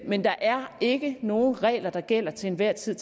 men der er ikke nogen regler der gælder til enhver tid